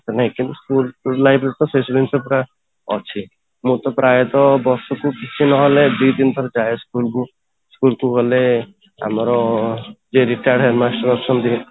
ମାନେ actually school life ରେ ସେ ଜିନିଷ ପୁରା ଅଛି ମୁଁ ତ ପ୍ରାୟତଃ ବସିକି କିଛି ନ ହେଲେ ଦି ତିନି ଥର ଯାଏ ସ୍school କୁ school କୁ ଗଲେ ଆମର ଯିଏ retard head master ଅଛନ୍ତି